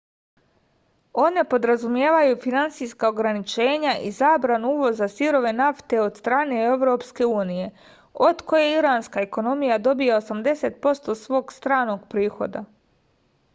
one podrazumevaju finansijska ograničenja i zabranu uvoza sirove nafte od strane evropske unije od koje iranska ekonomija dobija 80% svog stranog prihoda